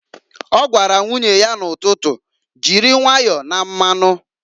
O gwara nwunye ya n'ụtụtụ, "Jiri nwayọ na mmanụǃ"